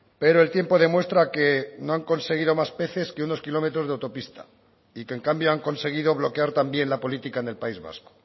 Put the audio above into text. pero el tiempo demuestra que no han conseguido más peces que unos kilómetros de autopista y que en cambio han conseguido bloquear también la política en el país vasco